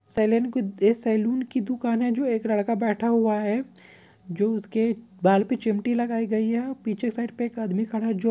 salon कुद ये saloon की दुकान है जो एक लड़का बैठा हुआ है जो उसके बाल पे चिमटी लगाई गई है पीछे साइड पे एक आदमी खड़ा है जो --